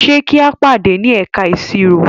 Ṣe ki a pade ni ẹka iṣiro?